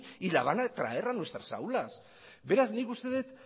y la van a traer a nuestras aulas beraz nik uste dut